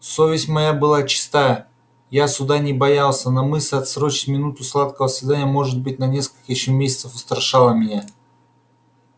совесть моя была чиста я суда не боялся но мысль отсрочить минуту сладкого свидания может быть на несколько ещё месяцев устрашала меня